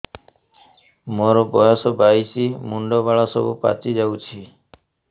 ମୋର ବୟସ ବାଇଶି ମୁଣ୍ଡ ବାଳ ସବୁ ପାଛି ଯାଉଛି